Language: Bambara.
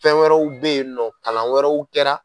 Fɛn wɛrɛw bɛ yen nɔ kalan wɛrɛw kɛra.